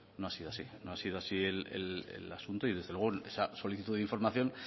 no ha sido así no ha sido así el asunto y desde luego esa solicitud de información